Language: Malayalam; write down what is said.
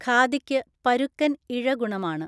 ഖാദിക്ക് പരുക്കൻ ഇഴഗുണമാണ്.